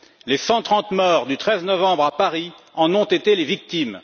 Les 130 morts du 13 novembre à Paris en ont été les victimes.